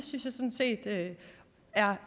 er